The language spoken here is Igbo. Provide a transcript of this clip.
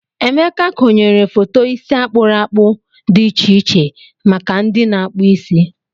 Emeka konyere foto isi akpụrụ akpụ dị iche iche maka ndị na-akpụ isi.